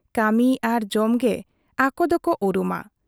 ᱠᱟᱹᱢᱤ ᱟᱨ ᱡᱚᱢ ᱜᱮ ᱟᱠᱚ ᱫᱚᱠᱚ ᱩᱨᱩᱢᱟ ᱾